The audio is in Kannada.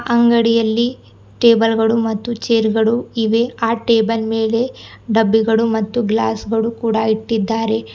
ಅಂಗಡಿಯಲ್ಲಿ ಟೇಬಲ್ ಗಳು ಮತ್ತು ಚೇರ್ ಗಳು ಇವೆ ಆ ಟೇಬಲ್ ಮೇಲೆ ಡಬ್ಬಿಗಳು ಮತ್ತು ಗ್ಲಾಸ್ ಗಳು ಕೂಡ ಇಟ್ಟಿದ್ದಾರೆ.